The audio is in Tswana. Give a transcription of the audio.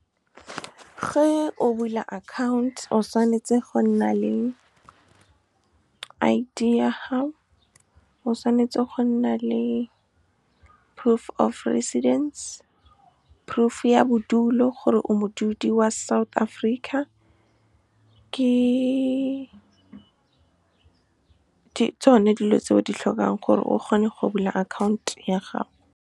Ge o bula account, o tshwanetse go nna le I_D ya gago, o tshwanetse go nna le proof of residence, proof ya bodulo, gore o modudi wa South Africa. Ke tsone dilo tse o di tlhokang gore o kgone go bula account ya gago. Ge o bula account, o tshwanetse go nna le I_D ya gago, o tshwanetse go nna le proof of residence, proof ya bodulo, gore o modudi wa South Africa. Ke tsone dilo tse o di tlhokang gore o kgone go bula account ya gago.